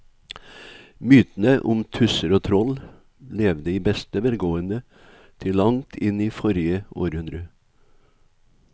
Mytene om tusser og troll levde i beste velgående til langt inn i forrige århundre.